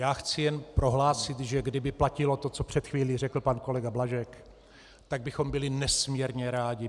Já chci jen prohlásit, že kdyby platilo to, co před chvílí řekl pan kolega Blažek, tak bychom byli nesmírně rádi.